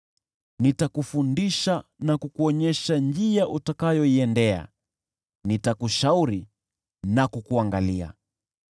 Nitakufundisha na kukuonyesha njia utakayoiendea; nitakushauri na kukuangalia.